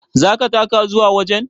Zaka taka zuwa wajen?